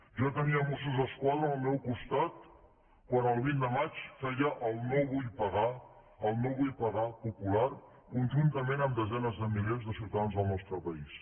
jo tenia mossos d’esquadra al meu costat quan el vint de maig feia el no vull pagar el no vull pagar popular conjuntament amb desenes de milers de ciutadans del nostre país